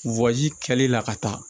kɛli la ka taa